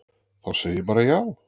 Þá segi ég bara já.